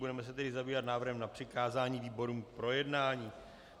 Budeme se tedy zabývat návrhem na přikázání výborům k projednání.